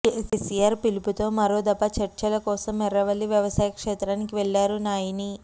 కేసీఆర్ పిలుపుతో మరోదఫా చర్చల కోసం ఎర్రవల్లి వ్యవసాయ క్షేత్రానికి వెళ్లారు నాయిని